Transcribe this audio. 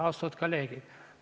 Austatud kolleegid!